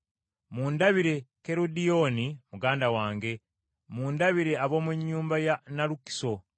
Mundabire Kerodiyoni muganda wange. Mundabire ab’omu nnyumba ya Nalukiso.